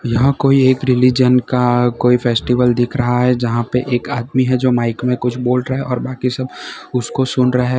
यहां कोई एक रिलिजन का कोई फेस्टिवल दिख रहा है जहां पे एक आदमी है जो माइक में कुछ बोल रहा है और बाकी सब उसको सुन रहे है।